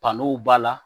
Bano b'a la